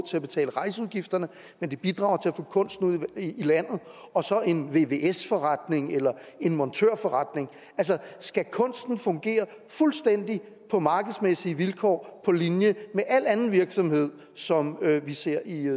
til at betale rejseudgifterne men det bidrager til at få kunsten ud i landet og så en vvs forretning eller en montørforretning altså skal kunsten fungere fuldstændig på markedsmæssige vilkår på linje med al anden virksomhed som vi ser i